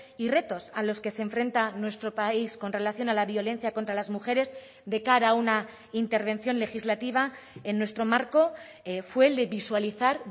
y retos a los que se enfrenta nuestro país con relación a la violencia contra las mujeres de cara a una intervención legislativa en nuestro marco fue el de visualizar